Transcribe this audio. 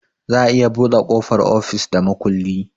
Za a iya buɗe ƙofar ofis da makulli